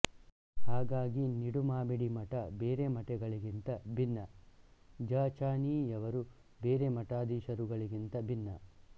ಹಾಗಾಗಿ ನಿಡುಮಾಮಿಡಿ ಮಠ ಬೇರೆ ಮಠಗಳಿಗಿಂತ ಭಿನ್ನ ಜ ಚ ನಿ ಯವರು ಬೇರೆ ಮಠಾಧೀಶರುಗಳಿಗಿಂತ ಭಿನ್ನ